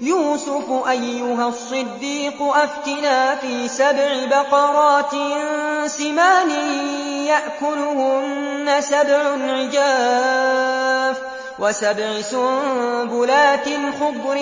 يُوسُفُ أَيُّهَا الصِّدِّيقُ أَفْتِنَا فِي سَبْعِ بَقَرَاتٍ سِمَانٍ يَأْكُلُهُنَّ سَبْعٌ عِجَافٌ وَسَبْعِ سُنبُلَاتٍ خُضْرٍ